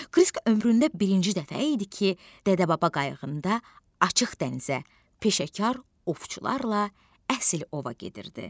Krisk ömründə birinci dəfə idi ki, dədə-baba qayığında açıq dənizə, peşəkar ovçularla əsl ova gedirdi.